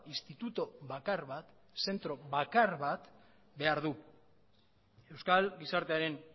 instituto bakar bat zentro bakar bat behar du euskal gizartearen